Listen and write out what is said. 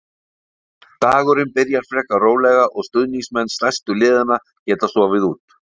Dagurinn byrjar frekar rólega og stuðningsmenn stærstu liðanna geta sofið út.